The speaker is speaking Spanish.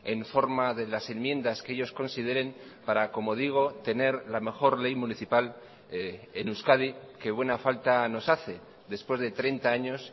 en forma de las enmiendas que ellos consideren para como digo tener la mejor ley municipal en euskadi que buena falta nos hace después de treinta años